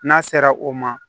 N'a sera o ma